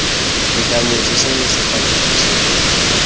tekanyetso seno se tla thusa